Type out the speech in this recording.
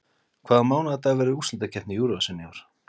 Hvaða mánaðardag verður úrslitakeppni Eurovision í ár?